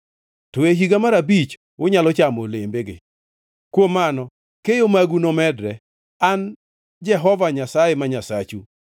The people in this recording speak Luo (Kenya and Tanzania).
To e higa mar abich, unyalo chamo olembege. Kuom mano keyo magu nomedre. An e Jehova Nyasaye ma Nyasachu.